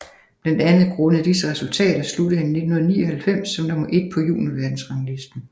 Blandt andet grundet disse resultater sluttede han i 1999 som nummer et på juniorverdensranglisten